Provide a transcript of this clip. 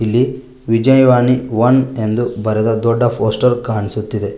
ಇಲ್ಲಿ ವಿಜಯವಾಣಿ ಒನ್ ಎಂದು ಬರೆದ ದೊಡ್ಡ ಪೋಸ್ಟರ್ ಕಾಣಿಸುತ್ತಿದೆ.